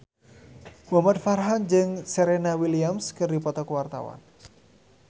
Muhamad Farhan jeung Serena Williams keur dipoto ku wartawan